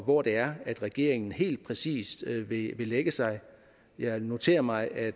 hvor det er regeringen helt præcist vil lægge sig jeg noterer mig at